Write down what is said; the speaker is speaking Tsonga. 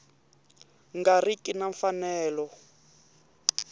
nga ri ki na mfanelo